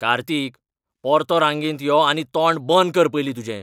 कार्तिक! परतो रांगेंत यो आनी तोंड बंद कर पयलीं तुजें.